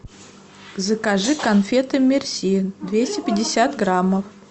закажи конфеты мерси двести пятьдесят граммов